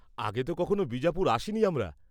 আগে তো কখনো বিজাপুর আসিনি আমরা।